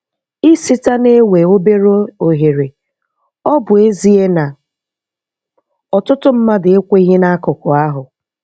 Ịsita na-ewe obere ohere, ọ bụ ezie na ọtụtụ mmadụ ekweghị n'akụkụ ahụ.